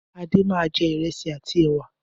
Adé máa jẹ ìrẹsì àti ẹ̀wà.